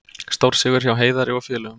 Stórsigur hjá Heiðari og félögum